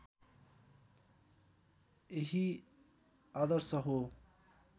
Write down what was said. यही आदर्श हो